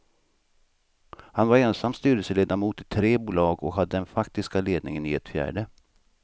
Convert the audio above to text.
Han var ensam styrelseledamot i tre bolag och hade den faktiska ledningen i ett fjärde.